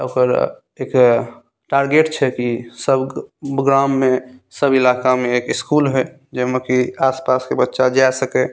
ओकर एक टारगेट छे कि सब गाम में सब इलाका में एक स्कूल होय जेमें की आस-पास के बच्चा जा सके।